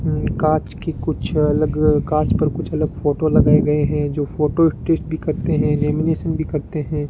कांच की कुछ अलग कांच पर कुछ अलग फोटो लगाए गए हैं जो फोटो स्टिच भी करते हैं लेमिनेशन भी करते हैं।